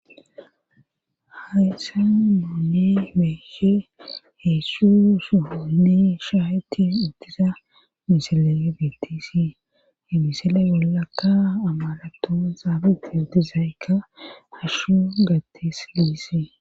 Hase muuni meeshe heessu suhuni shaayeti iddisa misileye betisi hemisile bollakka amalato zaabigiyodi zayykka hashshu gattisise.